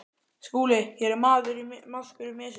SKÚLI: Hér er maðkur í mysu.